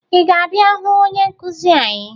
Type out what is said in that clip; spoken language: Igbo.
Ị ga-abịa hụ onye nkụzi anyị?